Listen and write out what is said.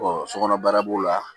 sokɔnɔ baara b'o la